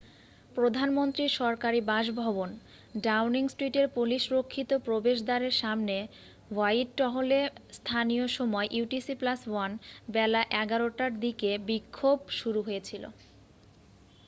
প্রধানমন্ত্রীর সরকারি বাসভবন ডাউনিং স্ট্রিটের পুলিশ-রক্ষিত প্রবেশ দ্বারের সামনে হোয়াইটহলে স্থানীয় সময় utc +1 বেলা 11:00 টার দিকে বিক্ষোভ শুরু হয়েছিল।